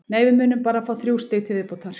Nei, við munum bara fá þrjú stig til viðbótar.